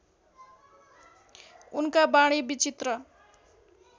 उनका वाणी विचित्र